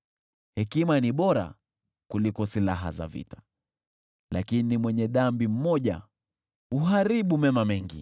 Hekima ni bora kuliko silaha za vita, lakini mwenye dhambi mmoja huharibu mema mengi.